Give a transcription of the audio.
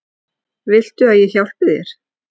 Viltu að ég hjálpi þér?